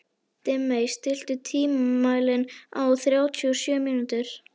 Dimmey, stilltu tímamælinn á þrjátíu og sjö mínútur.